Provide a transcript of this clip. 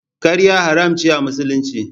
Ƙarya haramun ce a Musulunci.